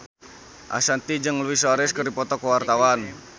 Ashanti jeung Luis Suarez keur dipoto ku wartawan